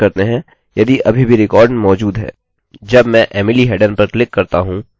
चलिए इसे देखने के लिए रिफ्रेशrefreshकरते हैं यदि अभी भी रिकार्ड मौजूद है